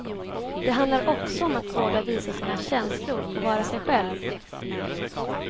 Det handlar också om att våga visa sina känslor och vara sig själv.